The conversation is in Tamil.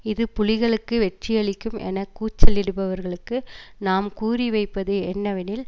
இது புலிகளுக்கு வெற்றியளிக்கும் என கூச்சலிடுபவர்களுக்கு நாம் கூறிவைப்பது என்னவெனில்